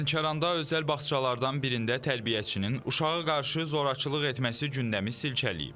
Lənkəranda özəl bağçalardan birində tərbiyəçinin uşağı qarşı zorakılıq etməsi gündəmi silkələyib.